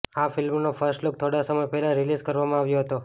આ ફિલ્મનો first look થોડાં સમય પહેલાં રિલીઝ કરવામાં આવ્યો હતો